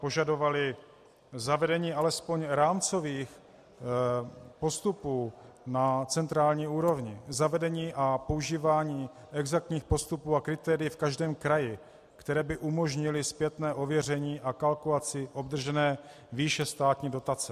Požadovali zavedení alespoň rámcových postupů na centrální úrovni, zavedení a používání exaktních postupů a kritérií v každém kraji, které by umožnily zpětné ověření a kalkulaci obdržené výše státní dotace.